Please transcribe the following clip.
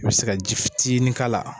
I bɛ se ka ji fitini k'ala.